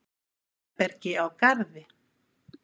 Herbergi á Garði.